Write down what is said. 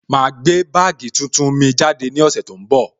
Ma gbé bagii tuntun mi jáde ní ọ̀sẹ̀ tó ń bọ̀